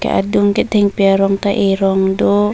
adung ke thengpi arong ta erong do.